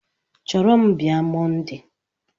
Chọrọ m bịa na Mọnde!